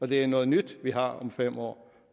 det er noget nyt vi har fået om fem år